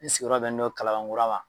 N sigiyɔrɔ bɛ ne don kalaban kura ma